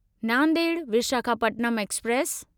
Nanded Visakhapatnam express